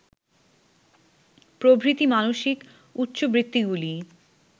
প্রভৃতি মানসিক উচ্চবৃত্তিগুলি